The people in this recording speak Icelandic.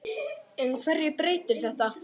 En hverju breytir þetta?